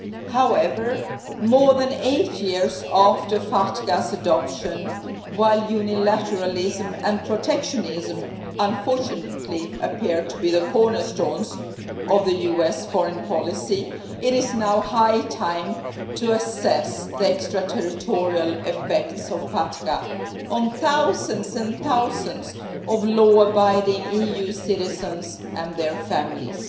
However, more than eight years after FATCA's adoption, while unilateralism and protectionism unfortunately appear to be the cornerstones of US foreign policy, it is now high time to assess the extraterritorial effects of FATCA on thousands and thousands of law abiding EU citizens and their families.